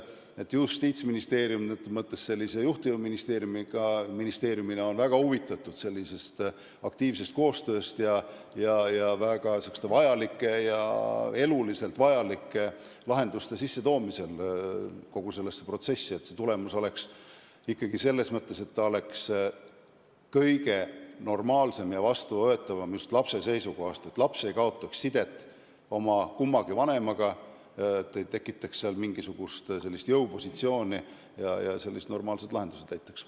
Justiitsministeerium on juhtiva ministeeriumina väga huvitatud aktiivsest koostööst eluliselt vajalike lahenduste sissetoomisel kogu sellesse protsessi, et tulemus oleks ikkagi kõige normaalsem ja vastuvõetavam just lapse seisukohast, et laps ei kaotaks sidet kummagi vanemaga, et ei tekitataks mingisugust jõupositsiooni ja leitaks normaalsed lahendused.